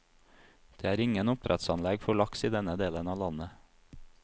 Det er ingen oppdrettsanlegg for laks i denne delen av landet.